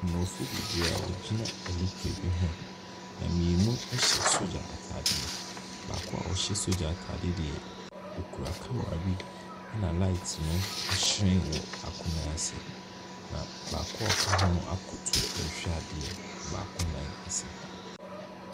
Aborɔfoɔ bebree a wɔgyina nnipa bi ho, na mmienu hyɛ sogya ataadeɛ. Na baako a ɔhyɛ sogya ataadeɛ deɛ, okura camera bi na light no ahyerɛn wɔ baako nan ase, na baako a ɔka ho akoto ɛrehwɛ adeɛ baako nan ase.